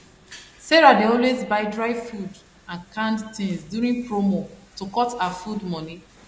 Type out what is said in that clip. sarah dey always buy dry food and canned things during promo to cut her food money